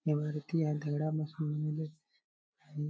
इमारती या दगडा पासून बनले आहे.